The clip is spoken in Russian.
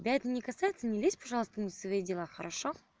тебя это не касается не лезь пожалуйста не в свои дела хорошо